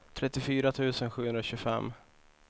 trettiofyra tusen sjuhundratjugofem